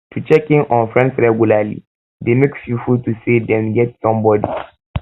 to check in on um friends regularly de make pipo feel say dem get somebody